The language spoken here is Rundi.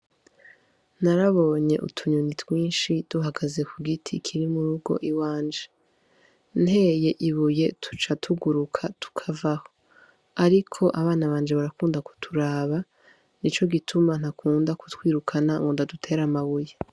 Narabonye utu nyoni twinshi duhagaze ku giti kiri mu rugo iwanje nteye ibuye tuca tuguruka tukavaho ariko abana banje barakunda kuturaba nico gituma ntakunda kutwirukana ngo ndadutere amabuye.